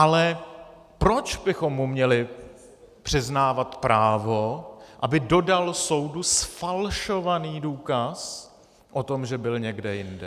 Ale proč bychom mu měli přiznávat právo, aby dodal soudu zfalšovaný důkaz o tom, že byl někde jinde?